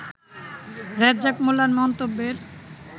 রেজ্জাক মোল্লার মন্তব্যের